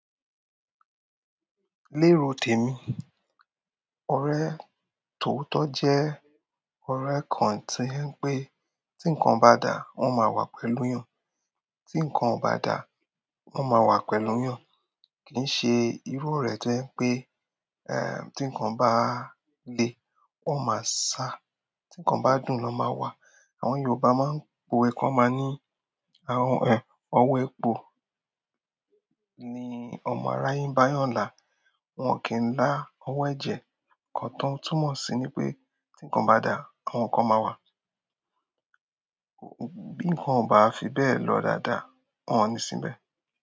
Ní èrò tèmi, ọ̀rẹ́ tòótọ́ jẹ́ ọ̀rẹ́ kan tí wípé tí ǹkan bá dáa wọ́n máa wá pẹ̀lú èèyàn, bí ǹkan ò bá dáa wọ́n máa wá pẹ̀lú èèyàn. Kì ń ṣe irú orẹ̀ tó jẹ́ pé eh tí nǹkan bá lè wọ́n máa sá, tí nǹkan bá dùn ni wọ́n máa wà. Àwọn Yorùbá máa ń po'we kan wọ́n máa ní, ọwọ́ epo ni ọmọ aráyé ń bá eyàn là. Wọ́n kìí ń la owó ẹ̀jẹ̀, ǹkan tó túnmọ̀ sí ni wípé, bí ǹkan ò bá dáa àwọn kan máa wá, bí ǹkan ò bá lọ dáadáa wọ́n o ń sí níbẹ̀.